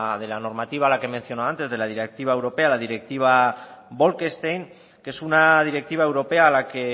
de la normativa a la que mencionado antes de la directiva europea la directiva bolkestein que es una directiva europea a la que